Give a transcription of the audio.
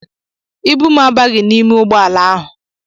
Ibu m abaghị n'ime ụgbọala ahụ.